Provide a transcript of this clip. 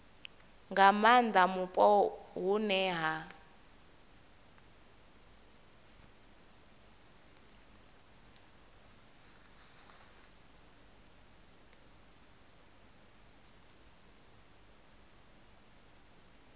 nga maanda mupo hune ha